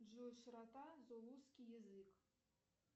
джой широта зулусский язык